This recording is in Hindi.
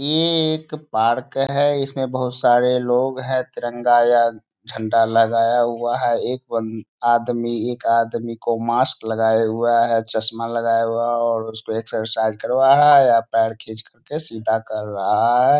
ये एक पार्क है इसमें बहुत सारे लोग हैं तिरंगा या झंडा लगाया हुआ है एक बन आदमी एक आदमी को मास्क लगाया हुआ है चश्मा लगाया हुआ है और उसको एक्सरसाइज करवा रहे है या पैर खींच कर सीधा कर रहा है।